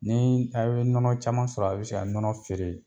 Ni a' ye nɔnɔ caman sɔrɔ a' bɛ se ka nɔnɔ feere.